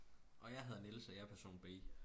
Og jeg hedder Niels og jeg person B